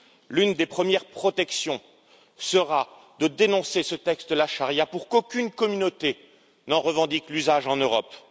L'une des premières protections sera de dénoncer ce texte, la charia, pour qu'aucune communauté n'en revendique l'usage en Europe.